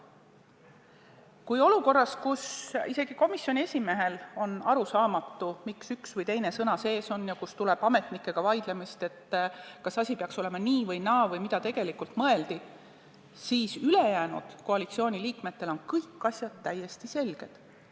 Kui olukorras, kus isegi komisjoni esimehele on arusaamatu, miks üks või teine sõna eelnõus sees on, ja kui tuleb ametnikega vaidlemist, kas asi peaks olema nii või naa või mida tegelikult mõeldi, siis ülejäänud koalitsiooniliikmetel on kõik asjad justkui täiesti selged.